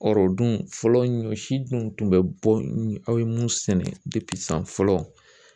dun fɔlɔ ɲɔ si dun tun bɛ bɔ aw ye mun sɛnɛ san fɔlɔ